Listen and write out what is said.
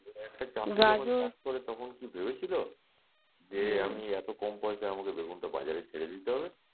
করে তখন কি ভেবেছিলো যে আমি এতো কম পয়সায় আমাকে বেগুনটা বাজারে ছেড়ে দিতে হবে,